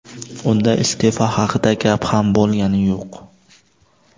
Unda iste’fo haqida gap ham bo‘lgani yo‘q.